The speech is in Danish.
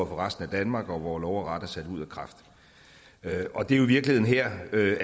resten af danmark og hvor lov og ret er sat ud af kraft og det er jo i virkeligheden her